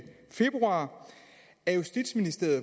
februar at justitsministeriet